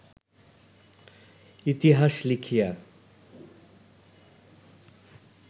ইতিহাস লিখিয়া